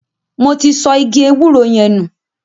Mo ti sọ igi ewúro yẹn nù.